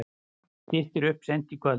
Styttir upp seint í kvöld